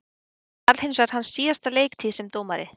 Þetta varð hinsvegar hans síðasta leiktíð sem dómari.